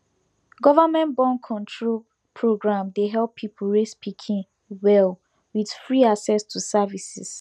government borncontrol program dey help people raise pikin well with free access to services